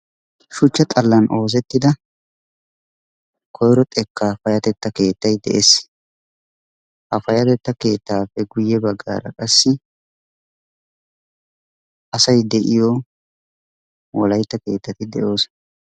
Shuchcha xallan oosettida koyiro xekkaa payyateta keettay de"es. Ha payateta keettaappe guyye baggaara qassi asay de"iyoo wolayitta keettati de"oosona.